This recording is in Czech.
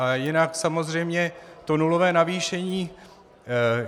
Ale jinak samozřejmě to nulové navýšení.